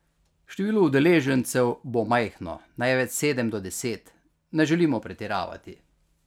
Število udeležencev bo majhno, največ sedem do deset, ne želimo pretiravati.